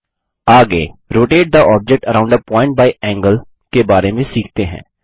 आगे rotate the object around a point by angle के बारे में सीखते हैं